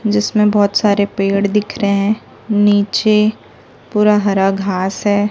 जिसमें बहोत सारे पेड़ दिख रहे हैं नीचे पूरा हरा घास है।